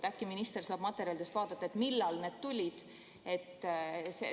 Äkki minister saab materjalidest vaadata, millal need tulid.